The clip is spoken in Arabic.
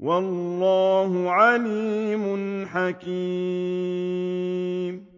وَاللَّهُ عَلِيمٌ حَكِيمٌ